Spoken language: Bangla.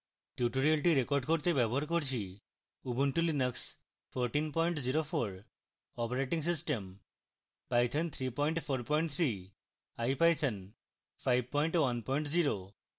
tutorial record করতে ব্যবহার করছি